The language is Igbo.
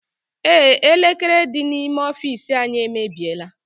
Ee, elekere dị n'ime ọfiisi anyị emebiela.